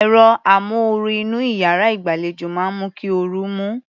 Ẹ̀rọ amóoru inú iyàrá ìgbàlejò máa ń mú kí orú mú.